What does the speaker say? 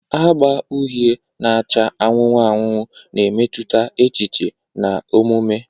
Agba uhie na acha anụnụ anụnụ na-emetụta echiche na omume.